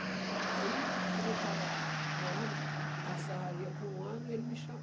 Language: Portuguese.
Bom, aí, quando eu estava morando na serraria com um ano, ele me